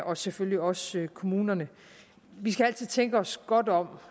og selvfølgelig også kommunerne vi skal altid tænke os godt om